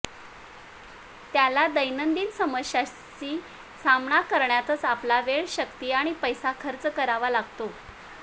त्याला दैनंदिन समस्यांशी सामना करण्यातच आपला वेळ शक्ती आणि पैसा खर्च करावा लागतो